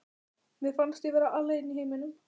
Mér fannst ég vera alein í heiminum.